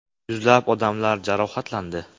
Yuzlab odamlar jarohatlandi.